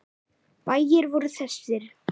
Bæir voru þessir